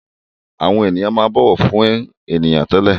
Àwọn èèyàn máa ń bọ̀wọ̀ fún èèyàn tẹ́lẹ̀